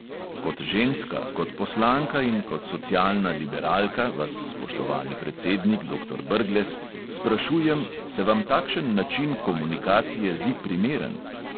Kot ženska, kot poslanka in kot socialna liberalka vas, spoštovani predsednik doktor brglez, sprašujem, se vam takšen način komunikacije zdi primeren?